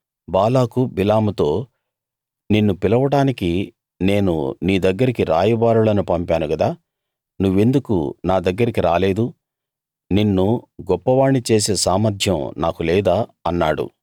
బాలాకు బిలాముతో నిన్ను పిలవడానికి నేను నీ దగ్గరికి రాయబారులను పంపాను గదా నువ్వెందుకు నా దగ్గరికి రాలేదు నిన్ను గొప్పవాణ్ణి చేసే సామర్థ్యం నాకు లేదా అన్నాడు